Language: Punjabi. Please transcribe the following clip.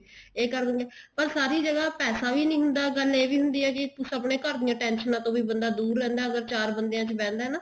ਇਹ ਕਰ ਦਵਾਂਗੇ ਪਰ ਸਾਰੀ ਜਗ੍ਹਾ ਪੈਸਾ ਵੀ ਨੀ ਹੁੰਦਾ ਗੱਲ ਇਹ ਵੀ ਹੁੰਦੀ ਆ ਕੀ ਆਪਣੇ ਘਰ ਦੀਆਂ tension ਤੋਂ ਵੀ ਬੰਦਾ ਦੁਰ ਰਹਿੰਦਾ ਅਗਰ ਚਾਰ ਬੰਦਿਆਂ ਚ ਬਹਿੰਦਾ ਨਾ